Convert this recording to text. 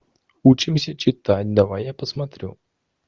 учимся читать давай я посмотрю